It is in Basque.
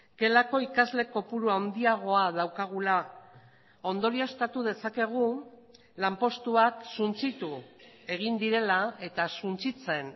gelako ikasle kopuru handiagoa daukagula ondorioztatu dezakegu lanpostuak suntsitu egin direla eta suntsitzen